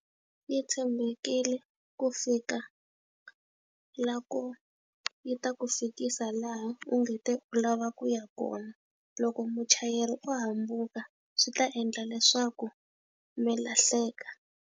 Yi tshembekile ku fika laha ko yi ta ku fikisa laha u nge te u lava ku ya kona. Loko muchayeri o hambuka swi ta endla leswaku mi lahleka.